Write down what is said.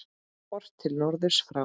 Horft til norðurs frá